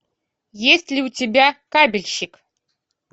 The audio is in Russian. есть ли у тебя кабельщик